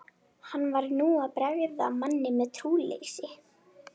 Hann var nú að bregða manni um trúleysi.